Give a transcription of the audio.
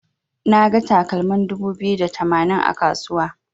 Naga takalmin dubu biyu da tamanin a kasuwa.